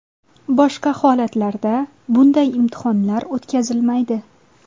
Boshqa holatlarda bunday imtihonlar o‘tkazilmaydi.